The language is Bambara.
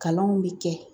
Kalanw bɛ kɛ